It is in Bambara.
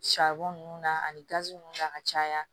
nunnu na ani gazi ninnu na ka caya